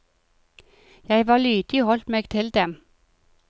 Jeg var lydig og holdt meg til dem.